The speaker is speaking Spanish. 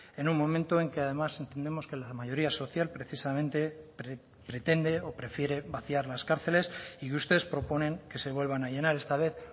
en un momento en que además entendemos que la mayoría social precisamente pretende o prefiere vaciar las cárceles y ustedes proponen que se vuelvan a llenar esta vez